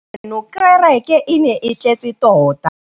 ieno kêrêkê e ne e tletse tota.